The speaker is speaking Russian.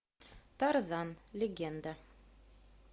тарзан легенда